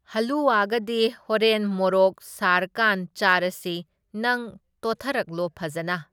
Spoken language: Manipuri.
ꯍꯜꯂꯨꯋꯥꯒꯗꯤ ꯍꯣꯔꯦꯟ ꯃꯣꯔꯣꯛ ꯁꯥꯔꯀꯥꯟ ꯆꯥꯔꯁꯤ, ꯅꯪ ꯇꯣꯠꯊꯔꯛꯂꯣ ꯐꯖꯅ꯫